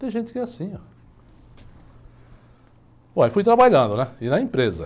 Tem gente que é assim, ó. Bom, aí fui trabalhando, né, e na empresa.